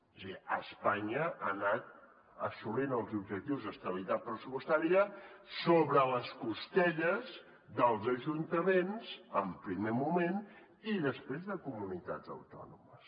és a dir espanya ha anat assolint els objectius d’estabilitat pressupostària sobre les costelles dels ajuntaments en primer moment i després de comunitats autònomes